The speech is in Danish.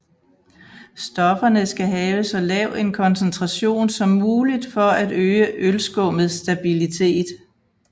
Stofferne skal have så lav en koncentration som muligt for at øge ølskummets stabilitet